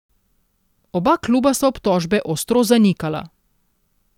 Oba kluba sta obtožbe ostro zanikala.